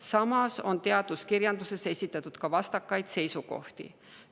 Samas on teaduskirjanduses esitatud vastakaid seisukohti.